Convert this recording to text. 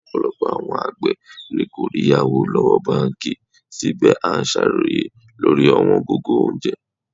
Ọ̀pọ̀lọpọ̀ àwọn àgbẹ̀ ni kò rí ìyáwó lọ́wọ́ báńkì, síbẹ̀ à ń ṣàròyé lórí ọ̀wọ́n gógó oúnjẹ.